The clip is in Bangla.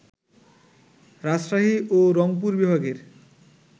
রাজশাহী ও রংপুর বিভাগের